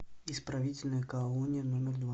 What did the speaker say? исправительная колония номер два